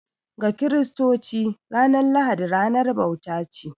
Ga Kiristoci, ranar lahadi ranar bauta ce.